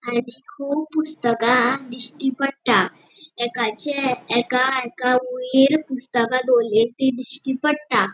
आणि कुब पुस्तका दिश्टी पट्टा एकाचे एका एका वयर पुस्तका दोरलीली ती दिश्टी पट्टा.